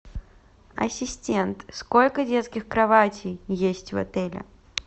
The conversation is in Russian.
ассистент сколько детских кроватей есть в отеле